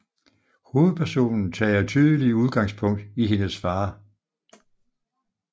Hovedpersonen tager tydelig udgangspunkt i hendes far